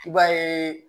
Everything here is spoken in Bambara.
I b'a ye